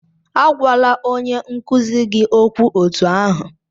Agwala onye nkuzi gị okwu otú ahụ!